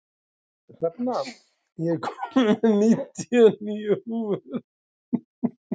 Hrefna, ég kom með níutíu og níu húfur!